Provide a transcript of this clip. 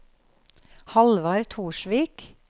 Hallvard Torsvik